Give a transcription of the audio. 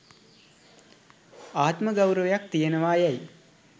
ආත්ම ගෞරවයක් තියෙනවා යැයි